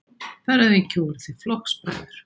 Þar að auki voru þeir flokksbræður.